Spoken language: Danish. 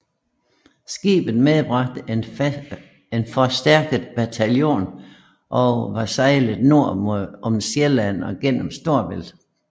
Skibet medbragte en forstærket bataljon og var sejlet nord om Sjælland gennem Storebælt